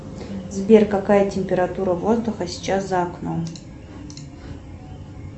сбер какая температура воздуха сейчас за окном